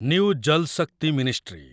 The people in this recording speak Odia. new Jal Shakti ministry